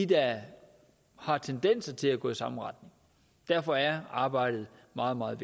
der har tendenser til at gå i samme retning derfor er arbejdet meget meget